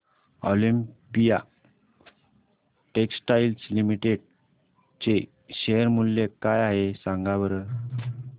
Olympia Textiles Limited चे share मूल्य काय आहे सांगा बरं